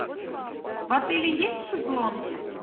в отеле есть шезлонги